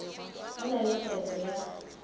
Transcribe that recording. go na le kgetho ya